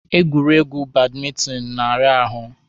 Egwuregwu badmentinụ na-ara ahụ.